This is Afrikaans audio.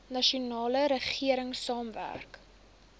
nasionale regering saamwerk